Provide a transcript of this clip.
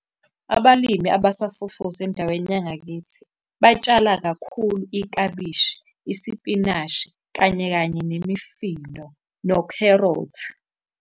Abalimi abasafufusa endaweni yangakithi, batshala kakhulu iklabishi, isipinashi, kanye kanye nemifino nokherothi.